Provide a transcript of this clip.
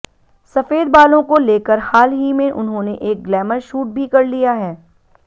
सफेद बालों को लेकर हाल ही में उन्होंने एक ग्लैमर शूट भी कर लिया है